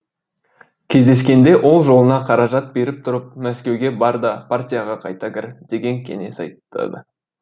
кездескенде ол жолына қаражат беріп тұрып мәскеуге бар да партияға қайта кір деген кеңес айтады